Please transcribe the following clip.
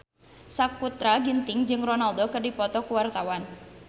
Sakutra Ginting jeung Ronaldo keur dipoto ku wartawan